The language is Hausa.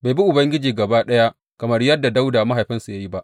Bai bi Ubangiji gaba ɗaya kamar yadda Dawuda mahaifinsa ya yi ba.